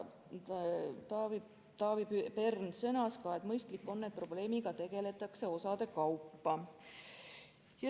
Taavi Pern sõnas ka, et mõistlik on, et probleemiga tegeldakse osade kaupa.